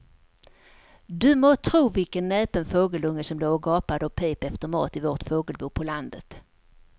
Du må tro vilken näpen fågelunge som låg och gapade och pep efter mat i vårt fågelbo på landet.